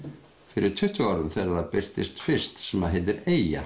fyrir tuttugu árum þegar það birtist fyrst sem heitir Eyja